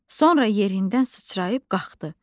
Sonra yerindən sıçrayıb qalxdı.